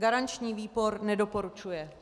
Garanční výbor nedoporučuje.